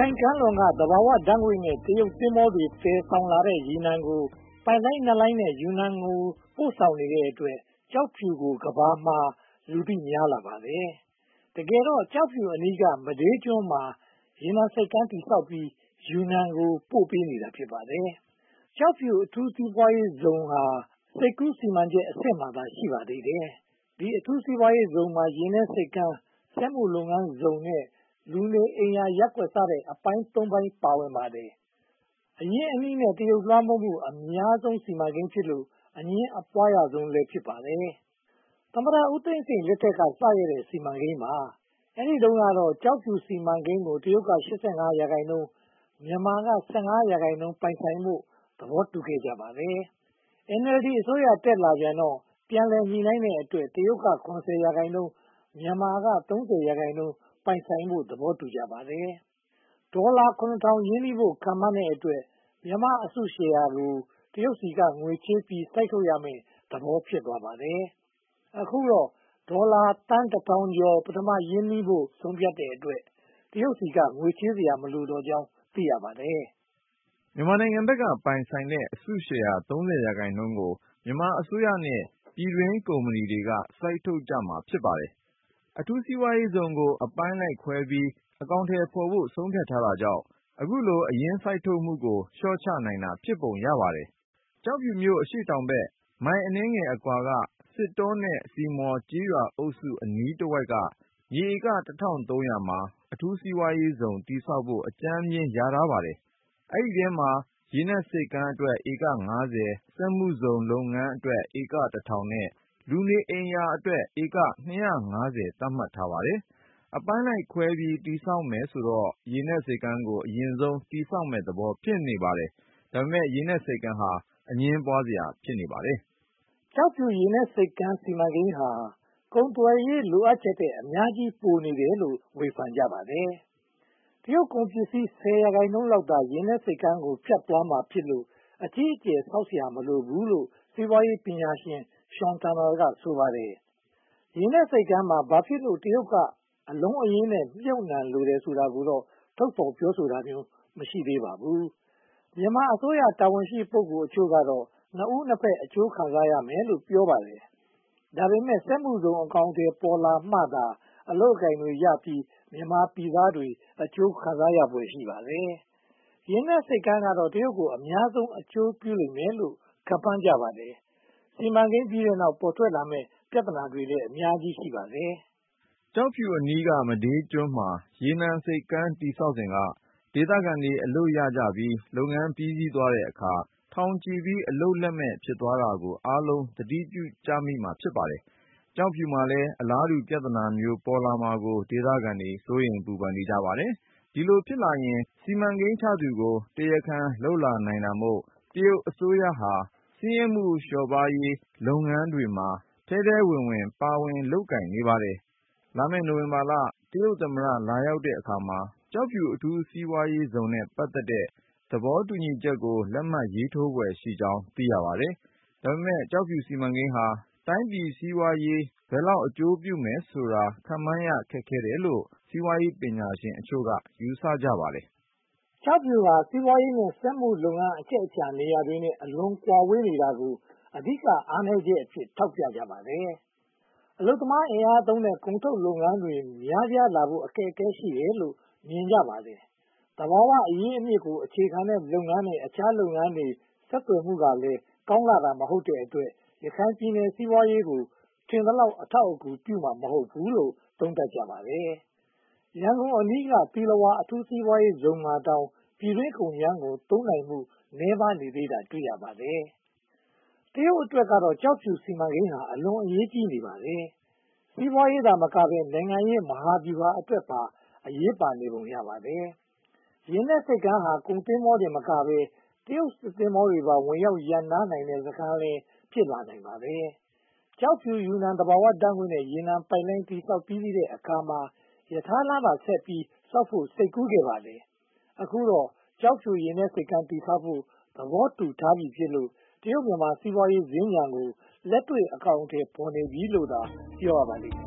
ိုင်ကမ်းလွန်က သဘာဝဓါတ်ငွေ့နဲ့ တရုတ်သင်္ဘောတွေ သယ်ယူလာတဲ့ ရေနံတွေကို ပိုက်လိုင်းနှစ်လိုင်းနဲ့ ယူနန်ကို ပို့ဆောင်နေတဲ့အတွက် ကျောက်ဖြူကို ကမ္ဘာမှုာ လူသိများလာပါတယ်။ တကယ်တော့ ကျောက်ဖြူအနီးက မဒေးကျွန်မှာ ရေနံဆိပ်ကမ်း တည်ဆောက်ပြီး ယူနန်ကို ပို့ပေးနေတာ ဖြစ်ပါတယ်။ ကျောက်ဖြူ အထူးစီးပွားရေးဇုန်ဟာ စိတ်ကူးစီမံချက်အဆင့်မှာသာ ရှိပါသေးတယ်။ ဒီအထူးစီးပွားရေးဇုန်မှာ ရေနက်ဆိပ်ကမ်း၊ စက်မှုလုပ်ငန်းဇုန်နဲ့ လူနေအိမ်ရာရပ်ကွက် စတဲ့ အပိုင်း (၃) ပိုင်း ပါဝင်ပါတယ်။ အရင်းအနှီးနဲ့ တရုတ် လွှမ်းမိုးမှု အများဆုံးစီမံကိန်းဖြစ်လို့ အငြင်းအပွားခံရဆုံးလည်း ဖြစ်ပါတယ်။ သမ္မတဦးသိန်းစိန်လက်ထက်က စခဲ့တဲ့ စီမံကိန်း ဖြစ်ပါတယ်။ အဲဒီတုန်းကတော့ ကျောက်ဖြူစီမံကိန်းကို တရုတ်က (၈၅) ရာခိုင်နှုန်း၊ မြန်မာနိုင်ငံက (၁၅) ရာခိုင်နှုန်း ပိုင်ဆိုင်ဖို့ သဘောတူခဲ့ပါတယ်။ NLD အစိုးရ တက်လာတော့ ပြန်လည်ညှိနှိုင်းတဲ့အတွက် တရုတ်က (၇၀) ရာခိုင်နှုန်း၊ မြန်မာက (၃၀) ရာခိုင်နှုန်း ပိုင်ဆိုင်ဖို့ သဘောတူကြပါတယ်။ ဒေါ်လာသန်း (၇၀၀၀) ရင်းနှီးဖို့ ခန့်မှန်းတဲ့အတွက် မြန်မာရဲ့ အစုရှယ်ယာကို တရုတ်ဆီက ငွေချေးပြီး စိုက်ထုတ်ရမယ့်သဘော ဖြစ်ပါတယ်။ အခုတော့ ဒေါ်လာသန်း (၁၀၀၀) ကျော် ပထမ ရင်းနှီးဖို့ ဆုံးဖြတ်တဲ့အတွက် တရုတ်ဆီက ငွေချေးစရာမလိုကြောင်း သိရပါတယ်။ မြန်မာဘက်က ပိုင်ဆိုင်တဲ့ အစုရှယ်ယာ (၃၀) ရာခိုင်နှုန်းကို မြန်မာအစိုးရနဲ့ ပြည်တွင်းကုမ္ပဏီတွေက စိုက်ထုတ်ကြမှာ ဖြစ်ပါတယ်။ အထူးစီးပွားရေးဇုန်ကို အပိုင်းလိုက်ခွဲပြီး အကောင်အထည်ဖော်ဖို့ ဆုံးဖြတ်တာကြောင့် အခုလို အရင်းစိုက်ထုတ်မှုကို လျှော့ချနိုင်တာ ဖြစ်ပုံရပါတယ်။ ကျောက်ဖြူမြို့ အရှေ့တောင်ဘက်မိုင် အနည်းငယ်အကွာက စစ်တောနဲ့ စစ်မော် ကျေးရွာအုပ်စုအနီးတဝိုက်က မြေဧက (၁၃၀၀) မှာ အထူးစီးပွားရေးဇုန် တည်ဆောက်ဖို့ အကြမ်းဖျဉ်း လျာထားပါတယ်။ ဒီအထဲမှာ ရေနက်ဆိပ်ကမ်းအတွက် ဧက (၅၀)၊ စက်မှုလုပ်ငန်းဇုန်အတွက် ဧက (၁၀၀၀) နဲ့ လူနေအိမ်ရာအတွက် ဧက (၂၅၀) သတ်မှတ်ထားပါတယ်။ အပိုင်းလိုက်ခွဲပြီး တည်ဆောက်မယ်ဆိုတော့ ရေနက်ဆိပ်ကမ်းကို အရင်တည်ဆောက်မယ့်သဘော ဖြစ်နေပါတယ်။ ဒါပေမဲ့ ရေနက်ဆိပ်ကမ်းဟာ အငြင်းပွားစရာ ဖြစ်နေပါတယ်။ ကျောက်ဖြူရေနက်ဆိပ်ကမ်း စီမံကိန်းဟာ ကုန်သွယ်ရေး လိုအပ်ချက်ထက် အများကြီး ပိုနေတယ်လို့ ဝေဖန်ကြပါတယ်။ တရုတ်ကုန်ပစ္စည်း ဆယ်ရာခိုင်နှုန်းလောက်ဟာ ရေနက်ဆိပ်ကမ်းကို ဖြတ်သွားမှာဖြစ်လို့ အကြီးအကျယ် ဆောက်လုပ်စရာ မလိုဘူးလို့ စီးပွားရေးပညာရှင် Sean Turnell က ဆိုပါတယ်။ ရေနက်ဆိပ်ကမ်းမှာ ဘာဖြစ်လို့ တရုတ်က အလုံးအရင်းနဲ့ မြုပ်နံှလိုတယ်ဆိုတာကိုတော့ ထုတ်ဖော်ပြောဆိုတာမျိုး မရှိသေးပါဘူး။ မြန်မာအစိုးရ တာဝန်ရှိ ပုဂ္ဂိုလ်တချို့ကတော့ နှစ်ဦးနှစ်ဘက် အကျိုးခံစားရမယ်လို ပြောပါတယ်။ ဒါပေမဲ့ စက်မှုဇုန် အကောင်အထည်ဖော်လာမှသာ အလုပ်အကိုင်တွေ ရရှိပြီး မြန်မာပြည်သားတွေ အကျိုးခံစားရဖွယ် ရှိပါတယ်။ ရေနက်ဆိပ်ကမ်းကတော့ တရုတ်ကို အများဆုံး အကျိုးပြုလိမ့်မယ်လို့ ခန့်မှန်းကြပါတယ်။ စီမံကိန်းပြီးတဲ့နောက် ပေါ်ထွက်လာမယ့် ပြဿနာတွေလည်း ရှိပါတယ်။ ကျောက်ဖြူအနီက မဒေးကျွန်းမှာ ရေနက်ဆိပ်ကမ်းတည်ဆောက်စဉ်က ဒေသခံတွေ အလုပ်ရကြပြီး လုပ်ငန်းပြီးစီးသွားတဲ့အခါ ထောင်ချီပြီး အလုပ်လက်မဲ့ ဖြစ်သွားတာကို အားလုံးသတိပြုမိကြပါတယ်။ ကျောက်ဖြူမှာလည်း အလားတူ ပြဿနာမျိုး ပေါ်လာမှာကို ဒေသခံတွေ စိုးရိမ်ပူပန်နေကြပါတယ်။ ဒီလိုဖြစ်လာရင် စီမံကိန်းချသူကို တရားခံလုပ်လာနိုင်တာမို့ တရုတ်အစိုးရဟာ ဆင်းရဲမှု လျော့ပါးရေး လုပ်ငန်းတွေမှာ ထဲထဲဝင်ဝင် ပါဝင်လုပ်ကိုင်နေပါတယ်။ လာမယ့် နိုဝင်ဘာလ တရုတ်သမ္မတ လာရောက်တဲ့အခါမှာ ကျောက်ဖြူ အထူးစီးပွားရေးဇုန်နဲ့ ပတ်သက်တဲ့ သဘောတူညီချက်ကို လက်မှတ်ရေးထိုးဖွယ်ရှိကြောင်း သိရပါတယ်။ ဒါပေမဲ့ ကျောက်ဖြူစီမံကိန်းဟာ တိုင်းပြည်စီးပွားရေး ဘယ်လောက် အကျိုးပြုမယ်ဆိုတာကိုတော့ ခန့်မှန်းရခက်တယ်လို့လည်း စီးပွားရေးပညာရှင်အချို့က ယူဆကြပါတယ်။ ကျောက်ဖြူဟာ စီးပွားရေးနဲ့ စက်မှုလုပ်ငန်း အချက်အချာနေရာတွေနဲ့ အလွန်ကွာဝေးနေတာကို အဓိက အားနည်းချက်အဖြစ် ထောက်ပြကြပါတယ်။ အလုပ်သမားအင်အားသုံးတဲ့ ကုန်ထုတ်လုပ်ငန်းတွေ များပြားလာဖို့ အခက်အခဲတွေ ရှိတယ်လို့ မြင်ကြပါတယ်။ သဘာဝအရင်းအမြစ်ကို အခြေခံတဲ့လုပ်ငန်းနဲ့ အခြားလုပ်ငန်းတွေ ဆက်သွယ်မှုကလည်း ကောင်းလှတာ မဟုတ်တဲ့အတွက် ရခိုင်ပြည်နယ်စီးပွားရေးကို ထင်သလောက် အထောက်အကူပြုမှာ မဟုတ်ဘူးလို့ သုံးသပ်ကြပါတယ်။ ရန်ကုန်အနီးက သီလဝါအထူးစီးပွားရေးဇုန်မှာတောင် ပြည်တွင်းကုန်ကြမ်းကို သုံးနိုင်မှု နည်းပါးသေးတာကို တွေ့ရပါတယ်။ တရုတ်အတွက်ကတော့ ကျောက်ဖြူစီမံကိန်းဟာ အလွန်အရေးကြီးနေပါတယ်။ စီးပွားရေးသာမကဘဲ နိုင်ငံရေးမဟာဗျူဟာအတွက်ပါ အရေးပါနေပုံ ရပါတယ်။ ရေနက်ဆိပ်ကမ်းဟာ ကုန်သင်္ဘောတင်သာမကဘဲ တရုတ်စစ်သင်္ဘောတွေပါ ဝင်ရောက်ရပ်နားတဲ့စခန်းလည်း ဖြစ်လာနိုင်ပါတယ်။ ကျောက်ဖြူ-ယူနန် သဘာဝဓါတ်ငွေ့နဲ့ ရေနံပိုက်လိုင်း တည်ဆောက်ပြီးစီးတဲ့အခါမှာ ရထားလမ်းပါဆက်ပြီး တည်ဆောက်ဖို့ စိတ်ကူးခဲ့ပါတယ်။ အခုတော့ ကျောက်ဖြူ ရေနက်ဆိပ်ကမ်း တည်ဆောက်ဖို့ သဘောတူထားပြီဖြစ်လို့ တရုတ်-မြန်မာ စီးပွားရေးစင်္ကြန်စီမံကိန်းကို လက်တွေ့အကောင်အထည် ဖော်နေပြီလို့ ပြောရပါလိမ့်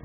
မယ်။